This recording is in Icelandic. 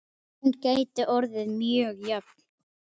Hún gæti orðið mjög jöfn.